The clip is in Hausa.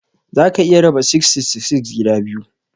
Za ka iya raba 666 gida biyu.